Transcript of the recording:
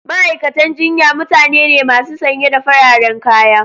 Ma'aikatan jinya mutane ne masu sanye da fararen kaya.